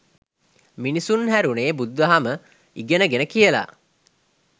මිනිසුන් හෑරුනේ බුදුදහම ඉගෙන ගෙන කියලා.